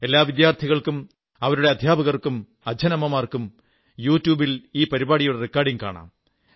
എല്ലാ വിദ്യാർഥികൾക്കും അവരുടെ അധ്യാപകർക്കും അച്ഛനമ്മമാർക്കും യൂട്യൂബിൽ ഈ പരിപാടിയുടെ വീഡിയോ കാണാം